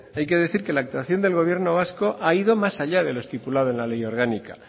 hay que decir que la actuación del gobierno vasco ha ido más allá de lo estipulado en la ley orgánica